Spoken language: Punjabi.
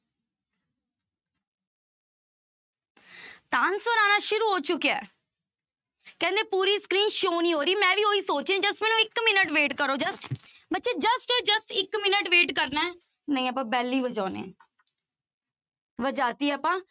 ਤਾਂਂ answer ਆਉਣਾ ਸ਼ੁਰੂ ਹੋ ਚੁੱਕਿਆ ਹੈ ਕਹਿੰਦੇ ਪੂਰੀ screen show ਨੀ ਹੋ ਰਹੀ, ਮੈਂ ਵੀ ਉਹੀ ਸੋਚ ਰਹੀ ਹਾਂ just ਮੈਨੂੰ ਇੱਕ minute wait ਕਰੋ just ਬੱਚੇ just just ਇੱਕ minute wait ਕਰਨਾ ਹੈ ਨਹੀਂ ਆਪਾਂ bell ਹੀ ਵਜਾਉਂਦੇ ਹਾਂ ਵਜਾ ਦਿੱਤੀ ਆਪਾਂ